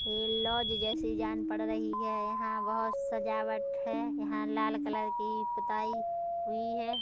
ये लॉज जैसी जान पड़ रही है यहाँ बहोत सजावट है यहाँ लाल कलर की पोताई हुई है।